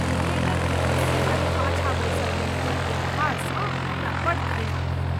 थिएटरमे हमर सीटक पाछाँ बैसल व्यक्तिक व्यवहारसँ हमरा बड्ड घृणा भेल।